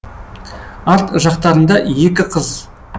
арт жақтарында екі қыз